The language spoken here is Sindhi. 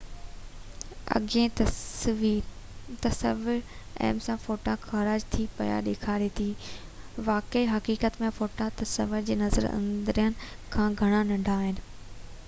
اڳيئن تصوير ائٽم سان فوٽان خارج ٿين پيا ڏيکاري ٿي واقعي حقيقت ۾ فوٽان تصوير ۾ نظر ايندڙن کان گهڻا ننڍا آهن